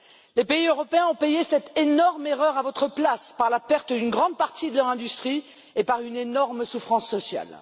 Les pays européens ont payé cette énorme erreur à votre place par la perte d'une grande partie de leur industrie et par une énorme souffrance sociale.